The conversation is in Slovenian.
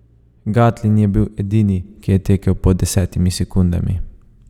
Gatlin je bil edini, ki je tekel pod desetimi sekundami.